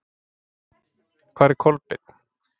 Hvar er Kolbeinn?